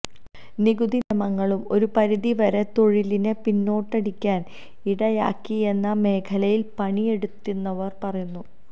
നികുതി നിയമങ്ങളും ഒരു പരിധിവരെ തൊഴിലിനെ പിന്നോട്ടടിക്കാൻ ഇടയാക്കിയെന്ന് മേഖലയിൽ പണിയെടുത്തിരുന്നവർ പറയുന്നു